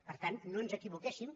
per tant no ens equivoquéssim